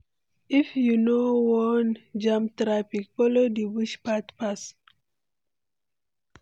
If you no wan jam traffic, follow di bush path pass.